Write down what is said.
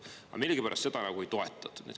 Aga millegipärast seda ei toetatud.